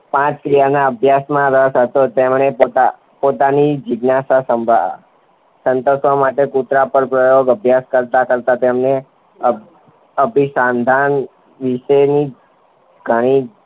પાંચ ક્રિયાના આભ્યાસ માં રસ હતો તેમને પોતાનમી જિગ્નાશ સાંભ સંતોસવા માટે કુતરા પર અભ્યાસ કરતા કરતા તેને આભ અભીસંધાન વિશેનું ગણિત